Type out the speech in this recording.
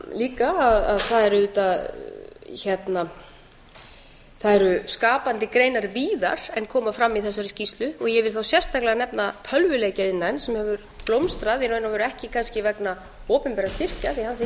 líka að það er auðvitað það eru skapandi greinar víðar en koma fram í þessari skýrslu og ég vil þá sérstaklega nefna tölvuleikjaiðnaðinn sem hefur blómstrað í raun og veru ekki kannski vegna opinberra styrkja því að hann þiggur